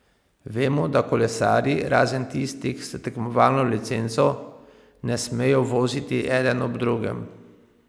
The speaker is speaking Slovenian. Vemo, da kolesarji, razen tistih s tekmovalno licenco, ne smejo voziti eden ob drugem.